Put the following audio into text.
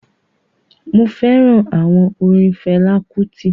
mo fẹràn àwọn orin Fela Kuti.